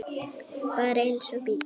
Bara eins og bíll.